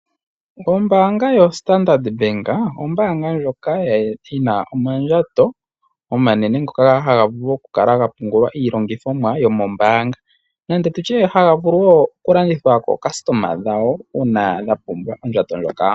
Ombaanga yoStandard Bank, ombaanga ndjoka yina omandjato omanene ngoka haga vulu oku kala ga pungula iilongithomwa yomombaanga, nande tutye haga vulu wo oku longithwa kookasitoma dhawo, uuna dha pumbwa ondjato ndjoka.